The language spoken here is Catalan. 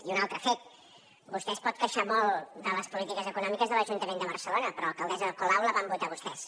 i un altre fet vostè es pot queixar molt de les polítiques econòmiques de l’ajuntament de barcelona però a l’alcaldessa ada colau la van votar vostès